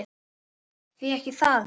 Því ekki það.